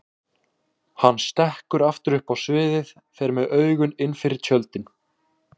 Hann stekkur aftur upp á sviðið, fer með augun innfyrir tjöldin.